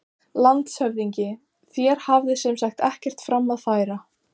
LANDSHÖFÐINGI: Þér hafið sem sagt ekkert fram að færa?